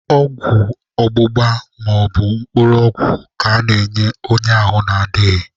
Ọgwụ ọgbụgba maọbụ mkpụrụ ọgwụ ka ana-enye onye ahụ adịghị.